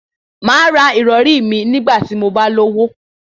Màá ra ìrọrí mi nígbà tí mo bá lówó